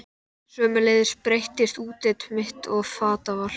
Sömuleiðis breyttist útlit mitt og fataval.